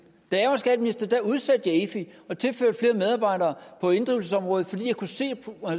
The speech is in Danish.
da jeg var skatteminister udsatte jeg efi og tilførte flere medarbejdere på inddrivelsesområdet fordi jeg kunne se at